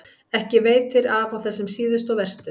Ekki veitir af á þessum síðustu og verstu.